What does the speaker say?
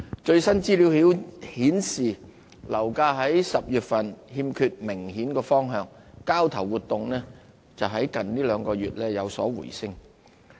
最新資料顯示，樓價在10月欠缺明顯方向，交投活動則在近兩個月有所回升。